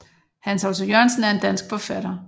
Hans Otto Jørgensen er en dansk forfatter